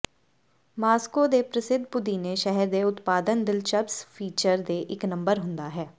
Moscow ਦੇ ਪ੍ਰਸਿੱਧ ਪੁਦੀਨੇ ਸ਼ਹਿਰ ਦੇ ਉਤਪਾਦਨ ਦਿਲਚਸਪ ਫੀਚਰ ਦੇ ਇੱਕ ਨੰਬਰ ਹੁੰਦਾ ਹੈ